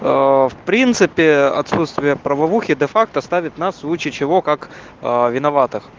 в принципе отсутствия правовухи дефакт оставит нас в случае чего как виноватых